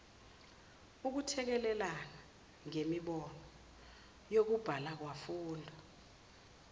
ukuthekelelana ngemibono yokubhalakwafunda